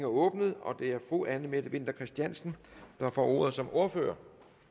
åbnet og det er fru anne mette winther christiansen der får ordet som ordfører